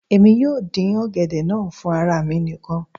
èmi yóò dín ọ̀gẹ̀dẹ̀ náà fún ara mi nìkan